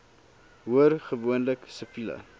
hoor gewoonlik siviele